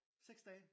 6 dage?